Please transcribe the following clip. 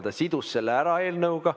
Ta sidus selle ära eelnõuga.